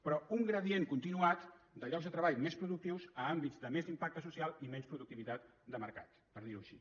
però un gradient continuat de llocs de treball més productius a àmbits de més impacte social i menys productivitat de mercat per dir ho així